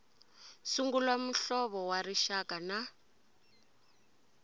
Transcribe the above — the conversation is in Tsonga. sungula muhlovo wa rixaka na